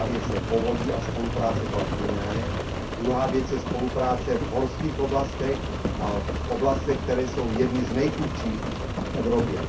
Jedna věc je povodí a spolupráce kolem Dunaje, druhá věc je spolupráce v horských oblastech a v oblastech, které jsou jedny z nejchudších v Evropě.